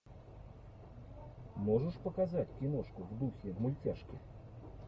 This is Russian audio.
можешь показать киношку в духе мультяшки